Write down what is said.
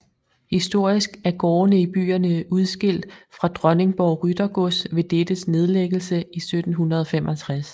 Historisk er gårdene i byerne udskilt fra Dronningborg Ryttergods ved dettes nedlæggelse i 1765